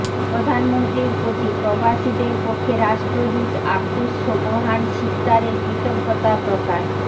প্রধানমন্ত্রীর প্রতি প্রবাসীদের পক্ষে রাষ্ট্রদূত আবদুস সোবহান সিকদারের কৃতজ্ঞতা প্রকাশ